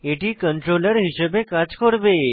এটি কন্ট্রোলার হিসেবে কাজ করবে